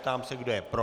Ptám se, kdo je pro.